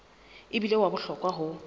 e bile wa bohlokwa ho